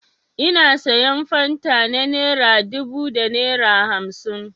Ina sayan fanta na naira dubu da naira hamsin.